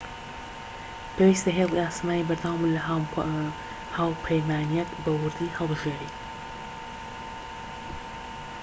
پێویستە هێڵی ئاسمانی بەردەوامت لە هاوپەیمانیەک بە ووردی هەڵبژێریت